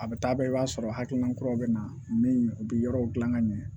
A bɛ taa bɛɛ i b'a sɔrɔ hakilina kuraw bɛ na min u bɛ yɔrɔw dilan ka ɲɛ